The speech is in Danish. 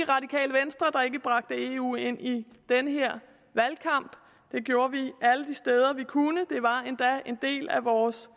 bragte eu ind i den her valgkamp det gjorde vi alle de steder vi kunne et af vores